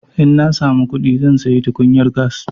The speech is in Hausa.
In na samu kuɗi zan sayi tukunyar gas.